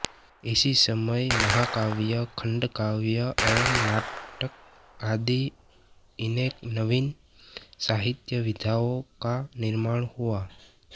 इसी समय महाकाव्य खंडकाव्य एवं नाटक आदि अनेक नवीन साहित्यविधाओं का निर्माण हुआ